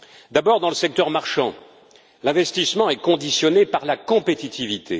D'abord dans le secteur marchand, l'investissement est conditionné par la compétitivité.